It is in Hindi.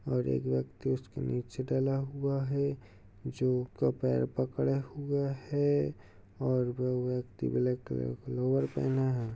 और एक व्यक्ति उसके नीचे डला हुआ है जो उसका पैर पकड़े हुए है और वो व्यक्ति ब्लैक कलर का लोवर पहना हुए है।